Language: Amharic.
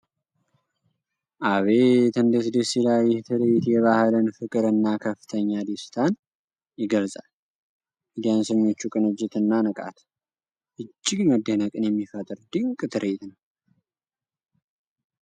አቤት እንዴት ደስ ይላል! ይህ ትርዒት የባህልን ፍቅር እና ከፍተኛ ደስታን ይገልጻል። የዳንሰኞቹ ቅንጅትና ንቃት እጅግ መደነቅን የሚፈጥር ድንቅ ትርኢት ነው!